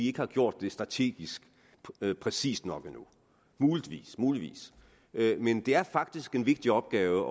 ikke har gjort det strategisk præcist nok endnu muligvis men det er faktisk en vigtig opgave